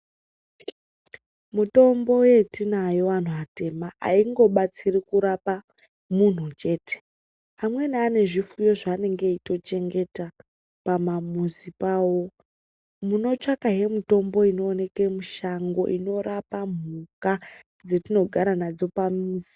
Mutombo yetinayo anhu atema haingobatsiri kurapa munhu chete. Amweni ane zvipfuyo zvaanenge eitochengeta pamamuzi pavo. Munotsvakahe mitombo inooneke mushango inorapa mhuka dzetinogara nadzo pamuzi.